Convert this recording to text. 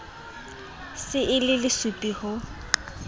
se e le lesupi ho